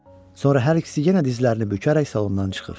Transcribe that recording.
Sonra hər ikisi yenə dizlərini bükərək salondan çıxır.